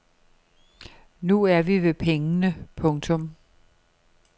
Nu vi er ved pengene. punktum